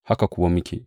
Haka kuwa muke!